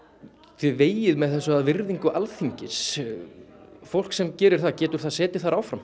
þið vegið með þessu að virðingu Alþingis fólk sem gerir það getur það setið þar áfram